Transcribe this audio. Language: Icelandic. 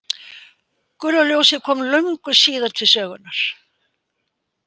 Gula ljósið kom löngu síðar til sögunnar.